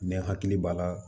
Ne hakili b'a la